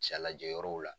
Ca lajɛ yɔrɔw la